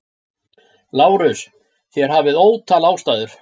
LÁRUS: Þér hafið ótal ástæður.